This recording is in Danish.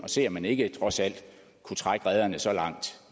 se om man ikke trods alt kunne trække rederne så langt